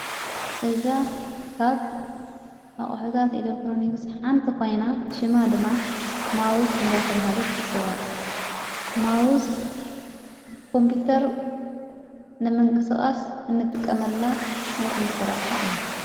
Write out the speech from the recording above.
እዛ ካብ ኣቕሑታት ኤሌክትሮንክስ ሓንቲ ኾይና ሽማ ድማ ማውዝ እንዳተብሃለት ትጽዋዕ ማዉዝ ኮምጵተር ንመንቀስቓስ እንጥቀመላ ናይ ኮምጵተር አቕሓ እያ፡፡